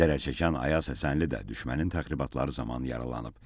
Zərərçəkən Ayaz Həsənli də düşmənin təxribatları zamanı yaralanıb.